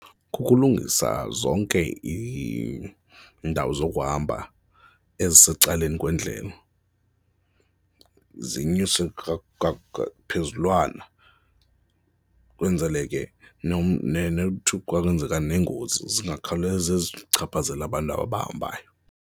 Kukulungisa zonke iindawo zokuhamba ezisecaleni kwendlela zinyuse phezulwana, kwenzele ke kwenzeka neengozi zingakhawuleze zichaphazele abantu abahambayo.